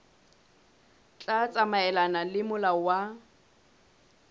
tla tsamaelana le molao wa